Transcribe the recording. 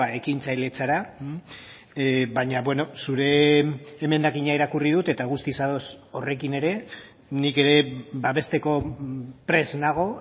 ekintzailetzara baina zure emendakina irakurri dut eta guztiz ados horrekin ere nik ere babesteko prest nago